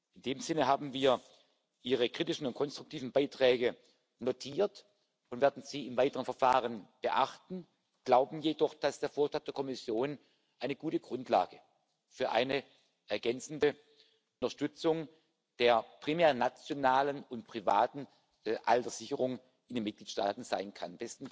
In dem Sinne haben wir Ihre kritischen und konstruktiven Beiträge notiert und werden sie im weiteren Verfahren beachten, glauben jedoch, dass der Vorschlag der Kommission eine gute Grundlage für eine ergänzende Unterstützung der primär nationalen und privaten Alterssicherung in den Mitgliedstaaten sein kann.